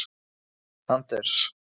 Anders